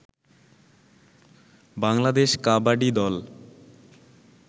বাংলাদেশ কাবাডি দল